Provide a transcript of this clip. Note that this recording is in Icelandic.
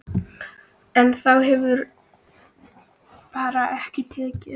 En þér hefur bara ekki tekist það.